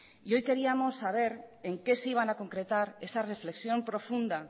y hoy queríamos saber en qué se iban a concretar esa reflexión profunda